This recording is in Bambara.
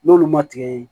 N'olu ma tigɛ